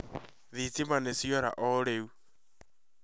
Thitima nĩ ciora o rĩu